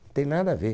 Tem nada a ver.